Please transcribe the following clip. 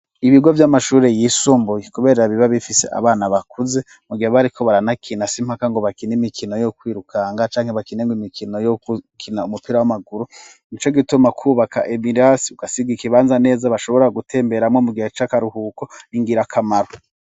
Ibigo vy'amashure yisumbuye kubera biba bifise abana bakuze, mu gihe baba bariko baranakina si mpaka ngo bakine imikino yo kwirukanga canke bakine ngo imikino yo kukina umupira w'amaguru, nico gituma kwubaka ibirasi ugasiga ikibanza neza bashobora gutemberamwo mu gihe c'akaruhuko ni ngirakamaro.